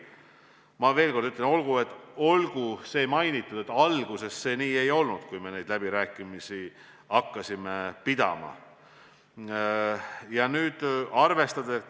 Ma veel kord ütlen, et alguses, kui me neid läbirääkimisi pidama hakkasime, see nii ei olnud.